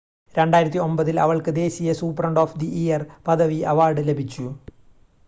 2009 ൽ അവൾക്ക് ദേശീയ സൂപ്രണ്ട് ഓഫ് ദി ഇയർ പദവി അവാർഡ് ലഭിച്ചു